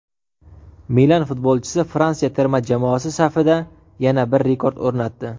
"Milan" futbolchisi Fransiya terma jamoasi safida yana bir rekord o‘rnatdi;.